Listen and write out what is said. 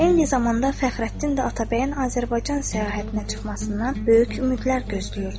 Eyni zamanda Fəxrəddin də Atabəyin Azərbaycan səyahətinə çıxmasından böyük ümidlər gözləyirdi.